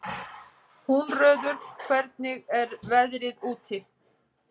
Húnröður, hvernig er veðrið úti?